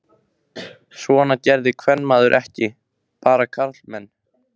Svona gerði kvenmaður ekki, bara karlmenn.